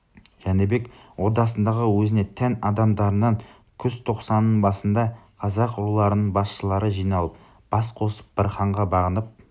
жәнібек ордасындағы өзіне тән адамдарынан күзтоқсанның басында қазақ руларының басшылары жиналып бас қосып бір ханға бағынып